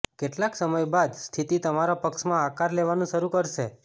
કેટલાક સમય બાદ સ્થિતિ તમારા પક્ષમાં આકાર લેવાનું શરૂ કરશે